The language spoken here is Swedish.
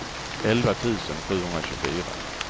elva tusen sjuhundratjugofyra